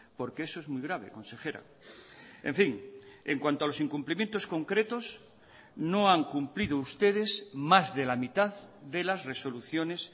porque eso es muy grave consejera en fin en cuanto a los incumplimientos concretos no han cumplido ustedes más de la mitad de las resoluciones